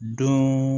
Don